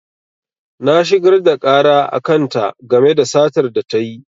Na shigar da ƙara a kan ta game da satar da tayi